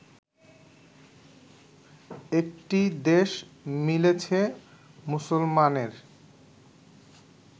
একটি দেশ মিলেছে মুসলমানের